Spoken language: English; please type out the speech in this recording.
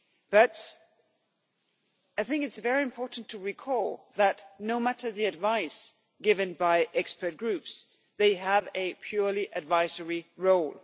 But I think it is very important to recall that no matter what advice is given by expert groups, they have a purely advisory role.